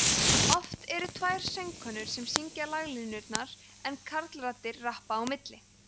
oft eru tvær söngkonur sem syngja laglínurnar en karlraddir rappa á milli